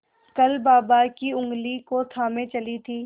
कल बाबा की ऊँगली को थामे चली थी